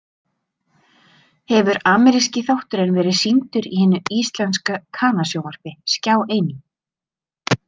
Hefur ameríski þátturinn verið sýndur í hinu íslenska kanasjónvarpi, Skjá einum.